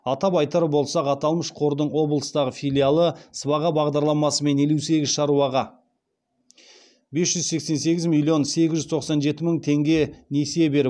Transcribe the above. атап айтар болсақ аталмыш қордың облыстағы филиалы сыбаға бағдарламасымен елу сегіз шаруаға бес жүз сексен сегіз миллион сегіз жүз тоқсан жеті мың теңге несие беріп